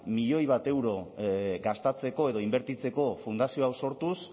milioi bat euro gastatzeko edo inbertitzeko fundazio hau sortuz